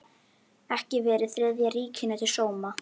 Ekki verið Þriðja ríkinu til sóma.